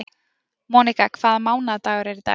Monika, hvaða mánaðardagur er í dag?